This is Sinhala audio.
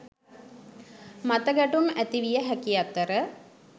මතගැටුම් ඇතිවිය හැකි අතර